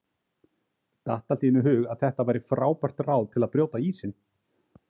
Datt allt í einu í hug að þetta væri frábært ráð til að brjóta ísinn!